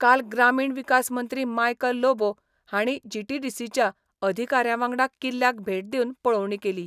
काल ग्रामीण विकास मंत्री मायकल लोबो हांणी जीटीडीसीच्या अधिकाऱ्यां वांगडा किल्ल्याक भेट दिवन पळोवणी केली.